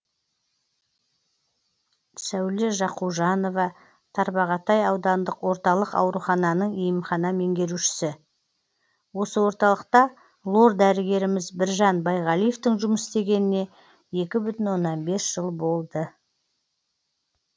сәуле жақужанова тарбағатай аудандық орталық аурухананың емхана меңгерушісі осы орталықта лор дәрігеріміз біржан байғалиевтің жұмыс істегеніне екі бүтін оннан бес жыл болды